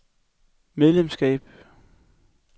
medlemskab